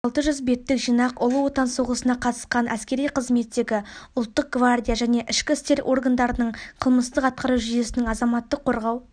алты жүз беттік жинақ ұлы отан соғысына қатысқан әскери қызметтегі ұлттық гвардия және ішкі істер органдарының қылмыстық атқару жүйесінің азаматтық қорғау